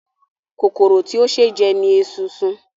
Kòkòrò tí ó ṣe é jẹ ni esunsun.